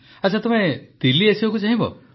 ଆଚ୍ଛା ତୁମେ ଦିଲ୍ଲୀ ଆସିବାକୁ ଚାହିଁବ